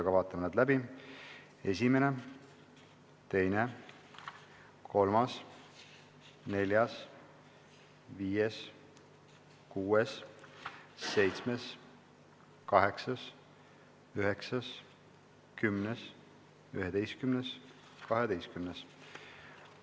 Aga vaatame need läbi: esimene, teine, kolmas, neljas, viies, kuues, seitsmes, kaheksas, üheksas, kümnes, üheteistkümnes, kaheteistkümnes.